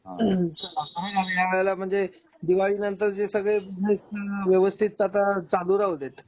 हम्म चला बाय ह्यावेळी म्हणजे दिवाळी नंतर जे सगळे व्यवस्थित आता चालू राहू देत.